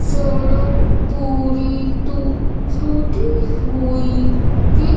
सड़क पूरी टू टूटी हुई दि--